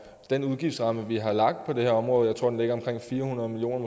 den udgiftsramme vi har lagt på det her område jeg tror den ligger omkring fire hundrede million